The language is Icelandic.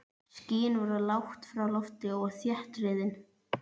Skýin voru lágt á lofti og þéttriðin.